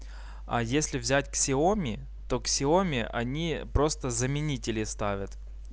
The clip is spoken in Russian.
а если взять ксиоми то ксиоми они просто заменители ставят